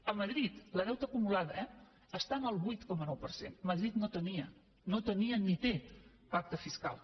a madrid el deute acumulat eh està en el vuit coma nou per cent madrid no tenia ni té pacte fiscal